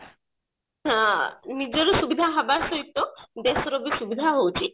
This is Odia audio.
ଆ ନିଜର ସୁବିଧା ହେବା ସହିତ ଦେଶର ବି ସୁବିଧା ହଉଛି